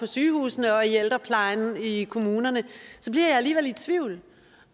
sygehusene og i ældreplejen i kommunerne så bliver jeg alligevel i tvivl